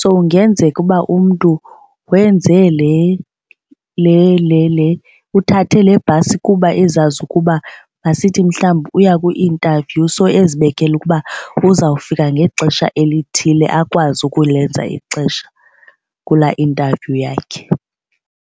So ingenzeka uba umntu wenze uthathe le bhasi kuba ezazi ukuba masithi mhlawumbi uya kwi-interview so ezibekele ukuba uzawufika ngexesha elithile akwazi ukulenza ixesha kulaa interview yakhe.